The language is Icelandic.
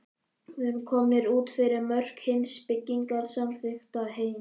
Við erum komnir út fyrir mörk hins byggingarsamþykkta heims.